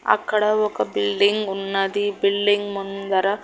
అక్కడ ఒక బిల్డింగ్ ఉన్నది బిల్డింగ్ ముందర--